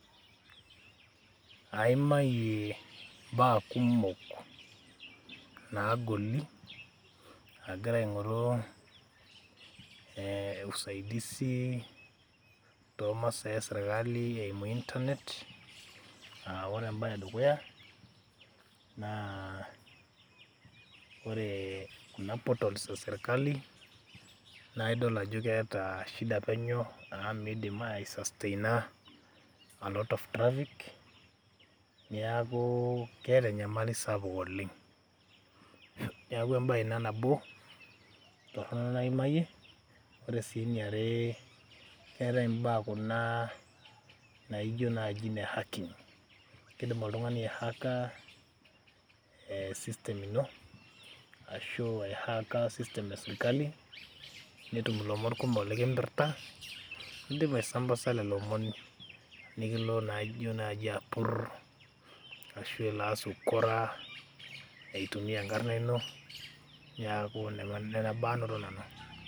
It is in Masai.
Aimayie mbaa kumok naagoli agira aing'oru u saidizi too masaa esirkali eimu internet. Aa ore embaye dukuya naa ore kuna portals e sirakali naake idol ajo keeta shisa penyo amu miidim ai sustain a a lot of traffic neeku keeta anyamali sapuk oleng', neeku embaye ina nabo torono naimayie. Ore sii eni are keetai mbaa kuna naijo naji ine hacking, kidim oltung'ani ai hack a system ino ashu ai hack a system esirkali, netum ilomon kumok lenkipirta nidim aisambaza lelo omon nekilo naaji apur ashu elo aas ukora eituia enkarna ino, neeku nena baa anoto nanu.